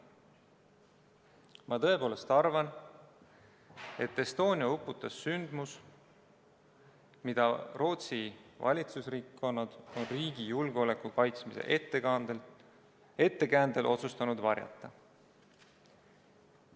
Ma tõepoolest arvan, et Estonia uppus millegi tõttu, mida Rootsi valitsusringkonnad on riigi julgeoleku kaitsmise ettekäändel otsustanud varjata.